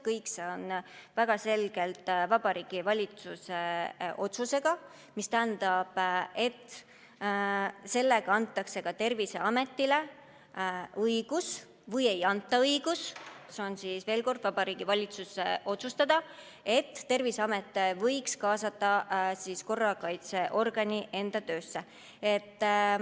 Kõik see on väga selgelt Vabariigi Valitsuse otsus, mis tähendab, et sellega antakse Terviseametile õigus või ei anta õigust – veel kord: see on Vabariigi Valitsuse otsustada –, et Terviseamet võib kaasata korrakaitseorgani enda töösse.